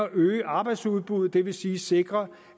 øge arbejdsudbuddet det vil sige sikre